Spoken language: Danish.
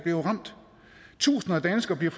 jo ramt tusinder af danskere bliver